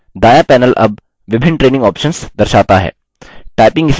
दायाँ panel अब विभिन्न training options दर्शाता है